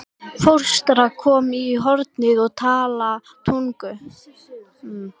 Fóstra komin í hornið og talar tungum.